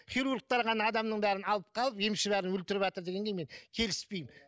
хирургтер ғана адамның бәрін алып қалып емші бәрін өлтіріватыр дегенге мен келіспеймін